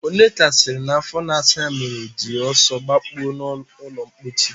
Onyeka sịrị na afọ na-asa ya mere o ji ọsọ gbakpuo n'ụlọmkpochi